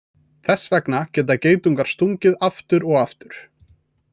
Þess vegna geta geitungar stungið aftur og aftur.